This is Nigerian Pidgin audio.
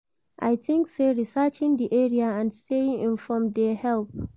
I dey think say researching di area and staying informed dey help.